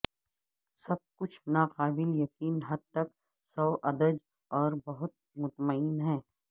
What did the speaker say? سب کچھ ناقابل یقین حد تک سوادج اور بہت مطمئن ہے